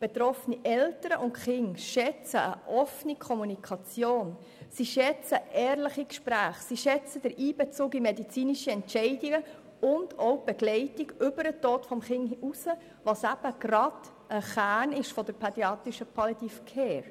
Betroffene Eltern und Kinder schätzen eine offene Kommunikation, sie schätzen ehrliche Gespräche, sie schätzen den Einbezug in medizinische Entscheidungen und auch die Begleitung über den Tod des Kindes hinaus, was eben gerade ein Kernpunkt der pädiatrischen Palliative Care ist.